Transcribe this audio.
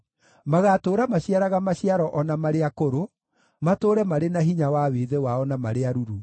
Magatũũra maciaraga maciaro o na marĩ akũrũ, matũũre marĩ na hinya wa wĩthĩ wao, na marĩ aruru,